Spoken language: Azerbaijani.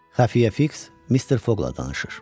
Xəfiyyə Fiks Mister Foqla danışır.